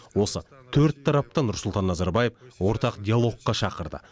осы төрт тарапты нұрсұлтан назарбаев ортақ диалогқа шақырды